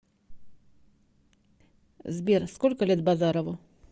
сбер сколько лет базарову